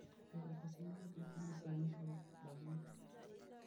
ore ele sinkolio keitulisa neishoru ndamunot